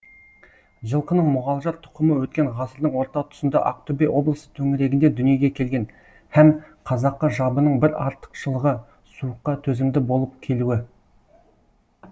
жылқының мұғалжар тұқымы өткен ғасырдың орта тұсында ақтөбе облысы төңірегінде дүниеге келген һәм қазақы жабының бір артықшылығы суыққа төзімді болып келуі